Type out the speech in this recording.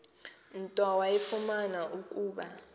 nto wafumana ukuba